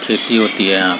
खेती होती है यहाँ--